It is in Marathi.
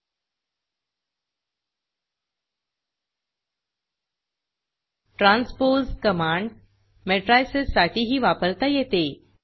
transposeट्रॅनस्पोज़ कमांड मॅट्रायसेस साठीही वापरता येते